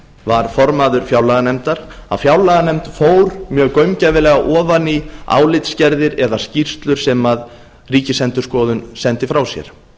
var formaður fjárlaganefndar að fjárlaganefnd fór mjög gaumgæfilega ofan í álitsgerðir eða skýrslur sem ríkisendurskoðun sendi frá sér